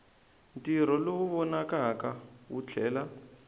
ntirho lowu vonakaka wu tlhela